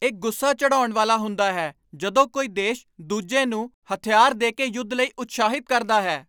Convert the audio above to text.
ਇਹ ਗੁੱਸਾ ਚੜ੍ਹਾਉਣ ਵਾਲਾ ਹੁੰਦਾ ਹੈ ਜਦੋਂ ਕੋਈ ਦੇਸ਼ ਦੂਜੇ ਨੂੰ ਹਥਿਆਰ ਦੇ ਕੇ ਯੁੱਧ ਲਈ ਉਤਸ਼ਾਹਿਤ ਕਰਦਾ ਹੈ।